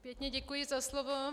Pěkně děkuji za slovo.